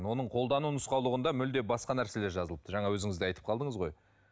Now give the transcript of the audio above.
оның қолдану нұсқаулығында мүлде басқа нәрселер жазылыпты жаңа өзіңіз де айтып қалдыңыз ғой